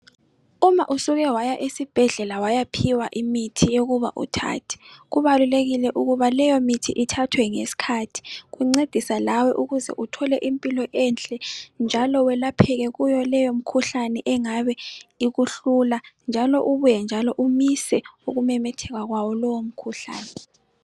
Uma usuke waya esibhedlela waya phiwa imithi yokuba uthathe kubalulekile ukuba leyo mithi ithathwe ngesikhathi kuncedisa lawe ukuze uthole impilo enhle njalo elapheke kuleyo mikhuhlane engabe ikuhlula njalo ubuye njalo umise ukumemetheka kwawo lowo mkhuhlane.